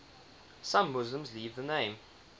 some muslims leave the name